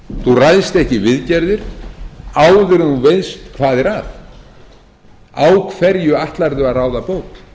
ekki í viðgerðir áður en þú veist hvað er að á hverju ætlarðu að ráða bót